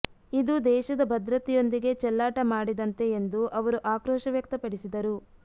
ಇದು ದೇಶದ ಭದ್ರತೆಯೊಂದಿಗೆ ಚೆಲ್ಲಾಟ ಮಾಡಿದಂತೆ ಎಂದು ಅವರು ಆಕ್ರೋಶ ವ್ಯಕ್ತಪಡಿಸಿದರು